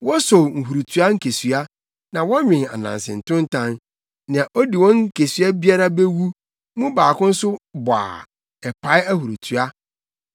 Wosow nhurutoa nkesua na wɔnwen ananse ntontan. Nea odi wɔn nkesua biara bewu, mu baako nso bɔ a, ɛpae ahurutoa.